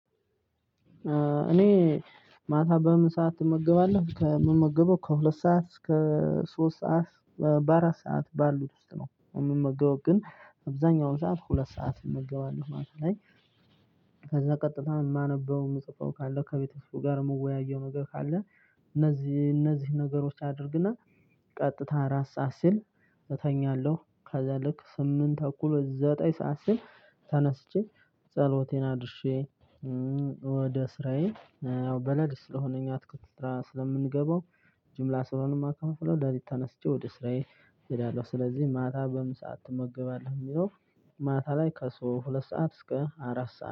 እኔ ማታ በምን ሰዓት ትመገባለህ? ከምመገበው ከሁለት ሰዓት እስከ ሶስት ሰዓት በአራት ሰዓት ባሉት ውስጥ ነው የምመገበው ግን አብዛኛውን ሰዓት ሁለት ሰዓት እመገባለሁ ማለት ነው። ከዛ ቀጥታ የማነበው የምጽፈው ካለው ከቤተሰቡ ጋር መወያየው ነገር ካለ እነዚህ እነዚህ ነገሮች አድርግና ቀጥታ አራት ሰዓት ሲል እተኛለሁ ከዛ ልክ ስምንት እኩል ዘጠኝ ሰዓት ሲል ተነስቼ ጸሎቴን አድርሼ ወደ ስራዬ በነግ ስለሆነ እኛ አትክልት ስራ ስለምንገባው ጅምላ ስለሆነ የማከፋፍለው ለሊት ተነስቼ ወደ ስራዬ እሄዳለሁ፤ ስለዚህ ማታ በምን ሰዓት ትመገባለህ ለሚለው ማታ ላይ ከ ሁለት ሰዓት እስከ አራት ሰዓት።